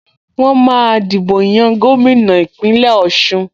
Wọ́n máa dìbò yan gómìnà Ìpínlẹ̀ Ọ̀ṣun